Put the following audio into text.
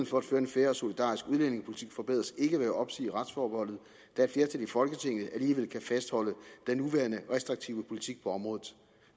for at føre en fair og solidarisk udlændingepolitik forbedres ikke ved at opsige retsforbeholdet da et flertal i folketinget alligevel kan fastholde den nuværende restriktive politik på området